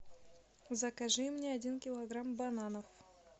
закажи мне один килограмм бананов